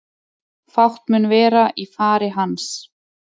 Fátt mun vera í fari hans